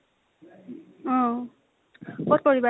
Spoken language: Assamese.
অ । কত কৰিবা